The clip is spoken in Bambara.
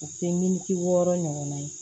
U tɛ militi wɔɔrɔ ɲɔgɔnna ye